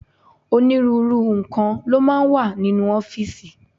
Onírúurú nǹkan ló máa ń wà nínú ọ́fíìsì.